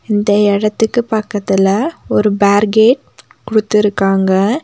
இந்த எடத்துக்கு பக்கத்துல ஒரு பேர்கேட் குடுதுருக்காங்க.